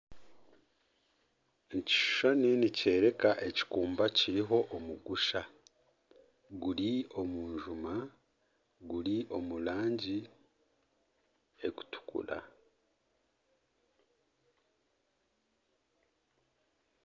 Ekishushani nikyoreka ekikumba kiriho omugusha, guri omu njuma guri omu rangi erikutukura